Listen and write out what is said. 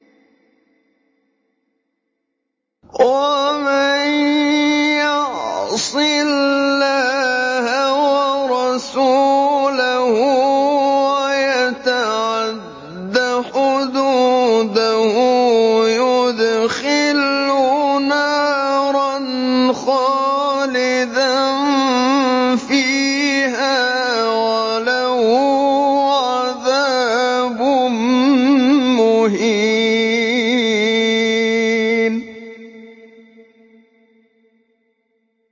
وَمَن يَعْصِ اللَّهَ وَرَسُولَهُ وَيَتَعَدَّ حُدُودَهُ يُدْخِلْهُ نَارًا خَالِدًا فِيهَا وَلَهُ عَذَابٌ مُّهِينٌ